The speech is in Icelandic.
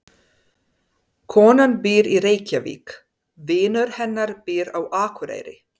Konan býr í Reykjavík. Vinur hennar býr á Akureyri.